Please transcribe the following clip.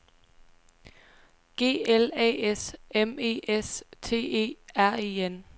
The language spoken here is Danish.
G L A S M E S T E R E N